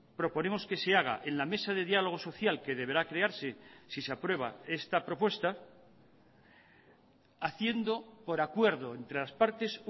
proponemos que se haga en la mesa de diálogo social que deberá crearse si se aprueba esta propuesta haciendo por acuerdo entre las partes